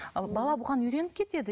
бала бұған үйреніп кетеді